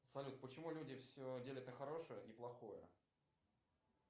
салют почему люди все делят на хорошее и плохое